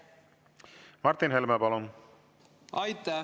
Martin Helme, palun!